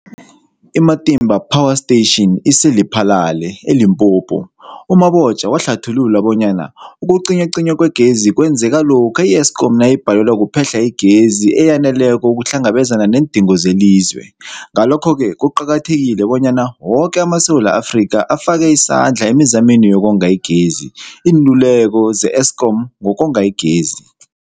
I-Matimba Power Station ise-Lephalale, eLimpopo. U-Mabotja wahlathulula bonyana ukucinywacinywa kwegezi kwenzeka lokha i-Eskom nayibhalelwa kuphe-hla igezi eyaneleko ukuhlangabezana neendingo zelizwe. Ngalokho-ke kuqakathekile bonyana woke amaSewula Afrika afake isandla emizameni yokonga igezi. Iinluleko ze-Eskom ngokonga igezi.